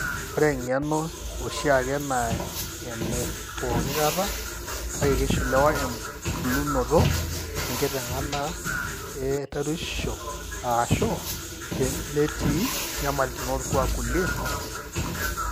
Ore eng'eno oshiaki naa enepookikata, kake keishiliwa embulunoto, enkiteng'ena e tarueshisho, o/ashu netii inyamalitin orkuak kulie katitin.